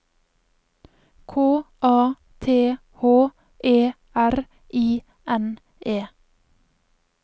K A T H E R I N E